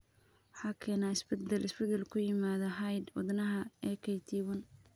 Waxa keena isbeddel (isbeddel) ku yimaadda hidda-wadaha AKT1.